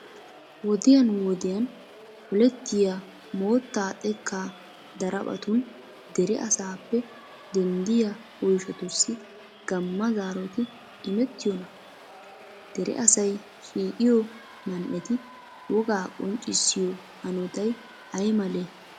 Wodiyan wodiyan polettiya mootta xekkaa daraphphatun dere asaappe denddiya oyshatussi gamma zaaroti imettiyonaa? Dere asay shiiqiyo man"eti wogaa qonccissiyo hanotay ay malee?